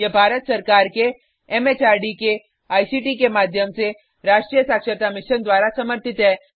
यह भारत सरकार के एमएचआरडी के आईसीटी के माध्यम से राष्ट्रीय साक्षरता मिशन द्वारा समर्थित है